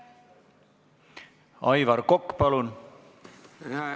Aivar Kokk, palun!